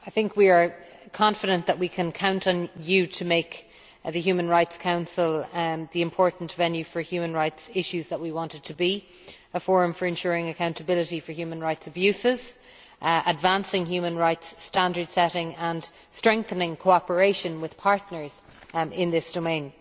We are confident that we can count on you to make the Human Rights Council the important venue for human rights issues that we want it to be a forum for ensuring accountability for human rights abuses, advancing human rights standard setting and strengthening cooperation with partners in this domain.